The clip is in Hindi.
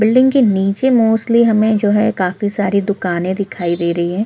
बिल्डिंग के नीचे मोस्टली हमे जो है काफी सारी दुकानें दिखाई दे रही है।